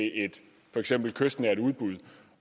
for eksempel et kystnært udbud